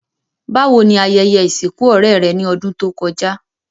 Bàwoni ayẹyẹ ìsìnkù ọ̀rẹ́ rẹ́ ni odùn to kojá?